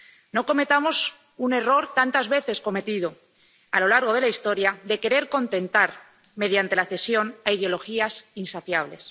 No cometamos un error, tantas veces cometido a lo largo de la historia, de querer contentar, mediante la cesión, a ideologías insaciables.